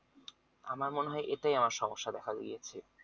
আমার মনে হয় এটাই আমার সমস্যা দেখা দিয়েছে